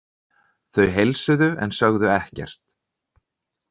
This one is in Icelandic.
Þau heilsuðu en sögðu ekkert.